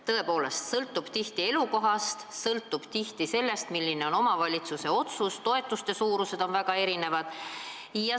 See olukord sõltub tihti elukohast, sõltub sellest, milline on omavalitsuse otsus, toetuste suurused on väga erinevad.